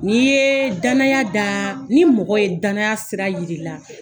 N' ye danaya da, ni mɔgɔ ye danaya sira yiri la